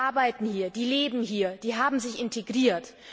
Die arbeiten hier, die leben hier, die haben sich integriert.